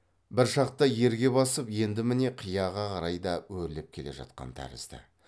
бір шақта ерге басып енді міне қияға қарай да өрлеп келе жатқан тәрізді